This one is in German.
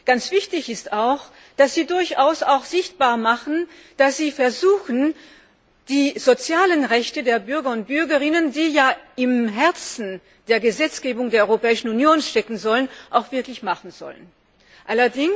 Ganz wichtig ist auch, dass Sie durchaus auch sichtbar machen, dass Sie versuchen, die sozialen Rechte der Bürger und Bürgerinnen, die ja ein Herzstück der Gesetzgebung der Europäischen Union sein sollen, auch Wirklichkeit werden zu lassen.